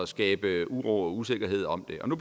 skabe uro og usikkerhed om den og nu